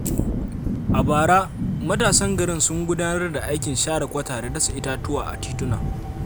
A bara, matasan garin sun gudanar da aikin share kwata da dasa itatuwa a tituna.